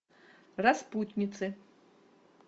распутницы